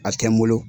A tɛ n bolo